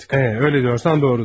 Hə, elə deyirsənsə, doğrudur.